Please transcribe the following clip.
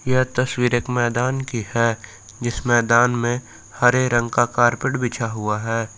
यह तस्वीर एक मैदान की है जिस मैदान में हरे रंग का कारपेट बिछा हुआ है।